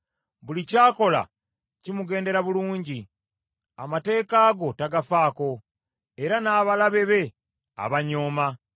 Buli ky’akola kimugendera bulungi. Amateeka go tagafaako, era n’abalabe be abanyooma.